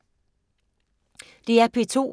DR P2